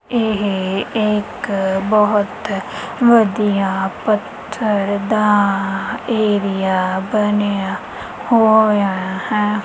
ਇਹ ਇੱਕ ਬਹੁਤ ਵਧੀਆ ਪੱਥਰ ਦਾ ਏਰੀਆ ਬਣਿਆ ਹੋਇਆ ਹੈ।